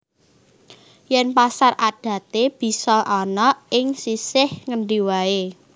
Yèn pasar adaté bisa ana ing sisih ngendi waé